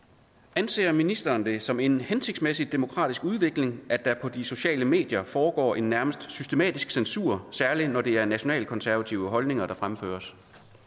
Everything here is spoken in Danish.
anser ministeren det som en hensigtsmæssig demokratisk udvikling at der på de sociale medier foregår en nærmest systematisk censur særlig når det er nationalkonservative holdninger der fremføres